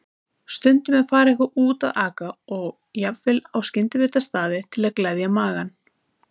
Stundum er farið eitthvað út að aka og jafnvel á skyndibitastaði til að gleðja magann.